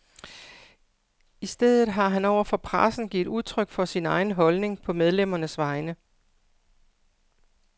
I stedet har han over for pressen givet udtryk for sin egen holdning, på medlemmernes vegne.